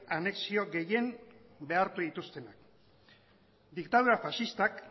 anexio gehien behartu dituztenak diktadura faxistak